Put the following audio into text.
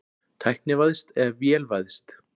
Tæknivæðst eða vélvæðst?